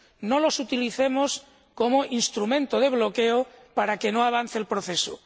no los utilicemos como instrumento de bloqueo para que no avance el proceso.